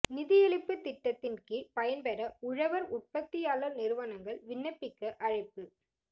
நிதியளிப்பு திட்டத்தின் கீழ் பயன்பெற உழவர் உற்பத்தியாளர் நிறுவனங்கள் விண்ணப்பிக்க அழைப்பு